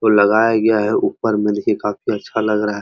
लगाया गया है ऊपर में देखिए काफी अच्छा लग रहा है।